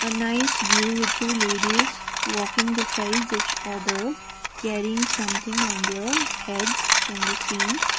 ah nice view with two ladies walking besides each other carrying something on their heads can be seen.